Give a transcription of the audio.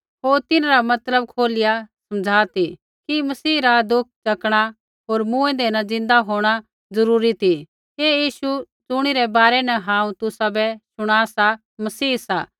होर तिन्हरा मतलब खोलिया समझा ती कि मसीह रा दुख च़कणा होर मूँऐंदै न ज़िन्दा होंणा ज़रूरी ती ऐ यीशु ज़ुणी रै बारै न हांऊँ तुसाबै शुणा सा मसीह सा